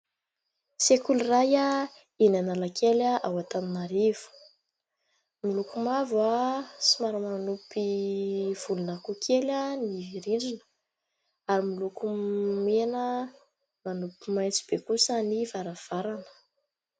Sekoly iray eny Analakely ao Antananarivo : miloko mavo somary manopy volon'akoho kely ny rindrina ary miloko mena manopy maitso be kosa ny varavarana.